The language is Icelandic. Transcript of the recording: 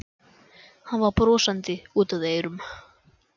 Hann var brosandi út að eyrum.